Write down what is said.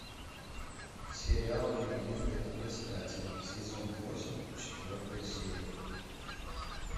сериал легенды об искателе сезон восемь четвертая серия